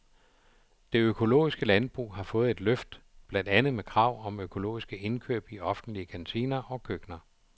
Det økologiske landbrug har fået et løft, blandt andet med krav om økologiske indkøb i offentlige kantiner og køkkener.